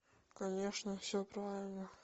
конечно все правильно